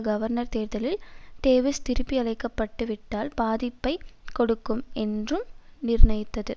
governor தேர்தலில் Davis திருப்பியழைக்கப்பட்டுவிட்டால் பாதிப்பை கொடுக்கும் என்றும் நிர்ணயித்தது